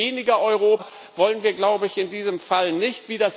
Weniger Europa wollen wir, glaube ich, in diesem Fall nicht.